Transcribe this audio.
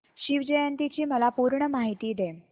शिवजयंती ची मला पूर्ण माहिती दे